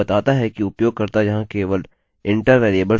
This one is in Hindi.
अतः यहाँ यह केवल name होगा